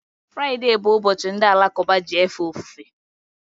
Friday bụ ụbọchị ndi alakuba ji efe ofufe